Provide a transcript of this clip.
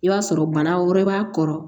I b'a sɔrɔ bana wɛrɛ b'a kɔrɔ